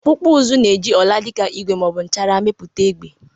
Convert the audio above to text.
Ọkpụkpụ uzu na-eji ọla dị ka igwe ma ọ bụ nchara mepụta egbe.